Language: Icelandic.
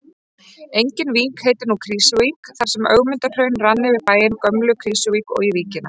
Engin vík heitir nú Krýsuvík þar sem Ögmundarhraun rann yfir bæinn Gömlu-Krýsuvík og í víkina.